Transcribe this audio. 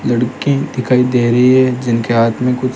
लड़कें दिखाई दे रही है जिनके हाथ में कुछ--